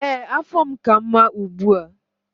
Ee, afọ m ka mma ugbu a.